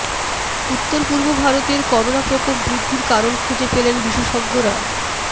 উত্তর পূর্ব ভারতের করোনা প্রকোপ বৃদ্ধির কারণ খুঁজে পেলেন বিশেষজ্ঞরা